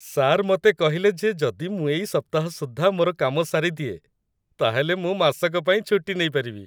Sir ମତେ କହିଲେ ଯେ ଯଦି ମୁଁ ଏଇ ସପ୍ତାହ ସୁଦ୍ଧା ମୋର କାମ ସାରିଦିଏ, ତା'ହେଲେ ମୁଁ ମାସକ ପାଇଁ ଛୁଟି ନେଇପାରିବି!